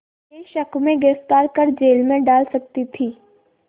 के शक में गिरफ़्तार कर जेल में डाल सकती थी